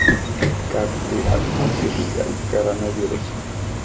как ты относишься к коронавирусу